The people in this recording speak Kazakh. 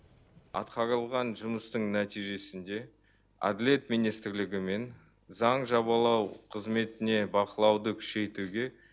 атқарылған жұмыстың нәтижесінде әділет министрлігімен заң жобалау қызметіне бақылауды күшейтуге